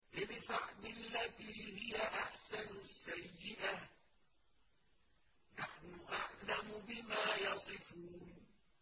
ادْفَعْ بِالَّتِي هِيَ أَحْسَنُ السَّيِّئَةَ ۚ نَحْنُ أَعْلَمُ بِمَا يَصِفُونَ